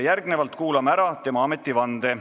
Kuulame ära tema ametivande.